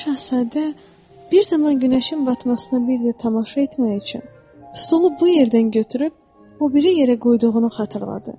Balaca Şahzadə bir zaman günəşin batmasına bir də tamaşa etmək üçün stolu bu yerdən götürüb o biri yerə qoyduğunu xatırladı.